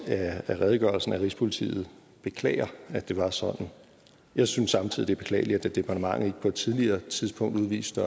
af redegørelsen at rigspolitiet beklager at det var sådan jeg synes samtidig det er beklageligt at departementet ikke på et tidligere tidspunkt udviste